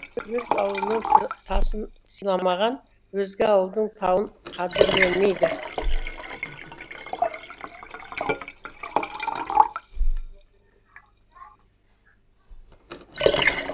өз ауылының тасын сыйламаған өзге ауылдың тауын қадірлемейді